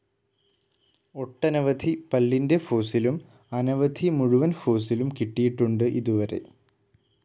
ഒട്ടനവധി പല്ലിന്റെ ഫോസ്സിലും അനവധി മുഴുവൻ ഫോസ്സിലും കിട്ടിയിട്ടുണ്ട് ഇതുവരെ.